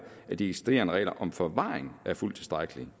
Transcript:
at de eksisterende regler om forvaring er fuldt tilstrækkelige